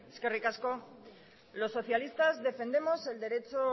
eskerrik asko los socialistas defendemos el derecho